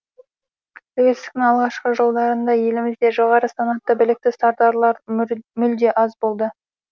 тәуелсіздіктің алғашқы жылдарында елімізде жоғары санатты білікті сардарлар мүлде аз болды